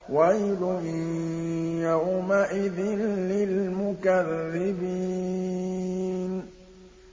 وَيْلٌ يَوْمَئِذٍ لِّلْمُكَذِّبِينَ